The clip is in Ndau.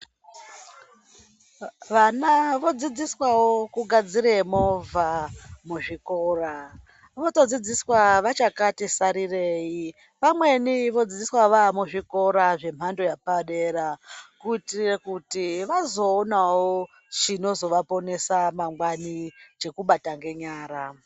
Vana vodzidziswawo kugadzire movha muzvikora vanotodzidziswa vachakati sarirei, vamweni vodzidziswa vaamuzvikora zvemhando yepadera kuitire kuti vazoonawo chinozovaponesa mangwani, chekubata ngenyara.